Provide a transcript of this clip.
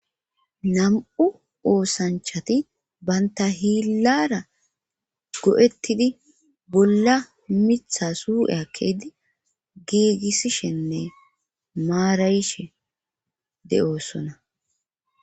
Nam7u oosanchati banta hiillara go7ettidi bolla mitha suu7eakkeydi giigissishenne maarayishe de7oossona